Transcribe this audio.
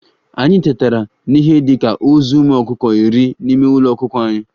Anyị tetara n'ihe dị ka ozu ụmụ ọkụkọ iri n'ime Ụlọ ọkụkọ anyị